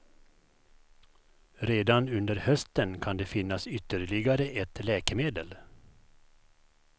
Redan under hösten kan det finnas ytterligare ett läkemedel.